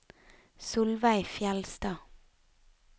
Solveig Fjellstad